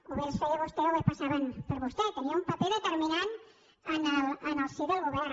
o bé els feia vostè o bé passaven per vostè perquè tenia un paper determinant en el si del govern